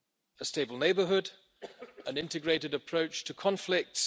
a stable neighbourhood an integrated approach to conflicts